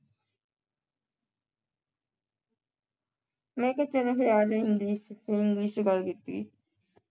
ਮੈਂ ਕਿਹਾ ਚਲੋ ਫਿਰ ਆ ਜੋ English ਵਿਚ ਫਿਰ English ਵਿਚ ਗੱਲ ਕੀਤੀ।